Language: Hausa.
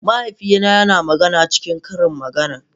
Mahaifina yana magana cikin ƙarin magana.